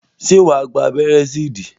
Ṣé wà á gba abẹ́rẹ́ sí ìdí?